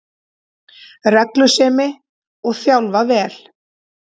Reglusemi, og þjálfa vel